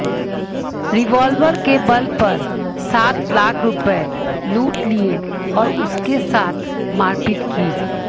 revolver के बल पर सात लाख रुपए लूट लिए और उसके साथ मारपीट की